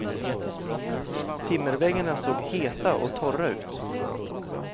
Timmerväggarna såg heta och torra ut.